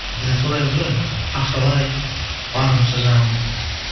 біз енді солаймыз ғой енді ақшалай барымызша жанағындай